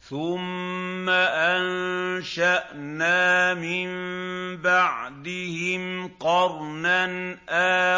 ثُمَّ أَنشَأْنَا مِن بَعْدِهِمْ قَرْنًا